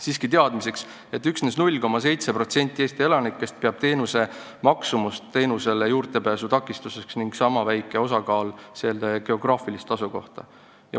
Siiski teadmiseks, et üksnes 0,7% Eesti elanikest peab teenuse maksumust teenusele juurdepääsemise takistuseks ning sama väike osa peab takistuseks teenuse geograafilist asukohta.